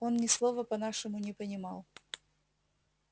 он ни слова по-нашему не понимал